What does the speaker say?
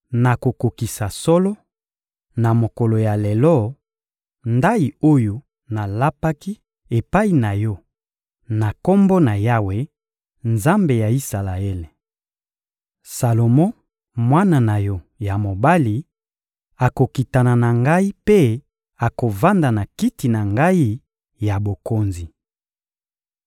nakokokisa solo, na mokolo ya lelo, ndayi oyo nalapaki epai na yo na Kombo na Yawe, Nzambe ya Isalaele. Salomo, mwana na yo ya mobali, akokitana na ngai mpe akovanda na kiti na ngai ya bokonzi.